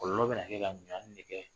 Kɔlɔlɔ bɛ na kɛ ka an nɛkɛ.